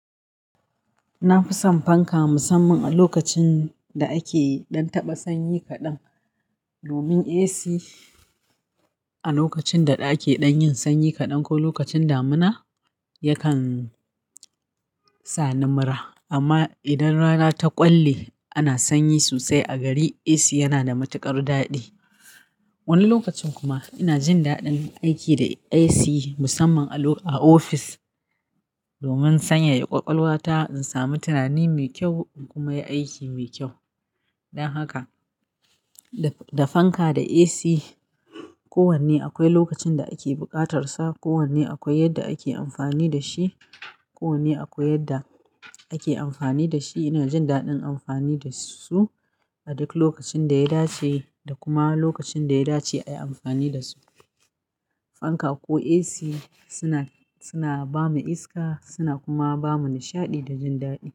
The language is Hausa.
Na fi son fanka musamman a lokacin da ake ɗan taɓa sanyi kaɗan. Domin AC a lokacin da ake ɗan yin sanyi kaɗan ko lokacin damuna yakan sani mura. Amma idan rana ta ƙwalli ana sanyi sosai a gari, AC yana da matuƙar daɗi. Wani lokacin kuma ina jin daɗin aiki da AC musamman a ofis domin sanyaya ƙwaƙwalwata in sami tunani mai kyau in kuma yi aiki mai kyau. Dan haka da fanka da AC kowanne akwai lokacin da ake buƙatar sa. Kowanne akwai yadda ake amfani da shi. Kowanne akwai yadda ake amfani da shi. Ina jin daɗin amfani da su a duk lokacin da ya dace da kuma lokacin da ya dace a yi amfani da su. Fanka ko AC suna, suna ba mu iska suna kuma ba mu nishaɗi da jin daɗi.